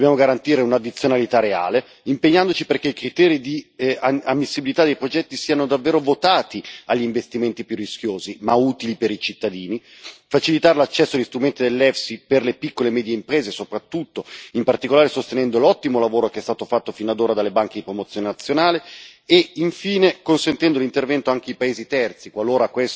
Dobbiamo garantire un'addizionalità reale, impegnandoci perché i criteri di ammissibilità dei progetti siano davvero votati agli investimenti più rischiosi, ma utili per i cittadini, facilitando l'accesso agli strumenti dell'EFSI per le piccole e medie imprese soprattutto, in particolare sostenendo l'ottimo lavoro che è stato fatto fino ad ora dalle banche di promozione nazionale e, infine, consentendo l'intervento anche ai paesi terzi, qualora